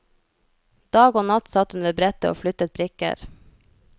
Dag og natt satt hun ved brettet og flyttet brikker.